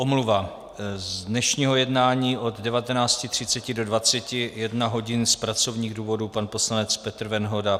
Omluva - z dnešního jednání od 19.30 do 21 hodin z pracovních důvodů pan poslanec Petr Venhoda.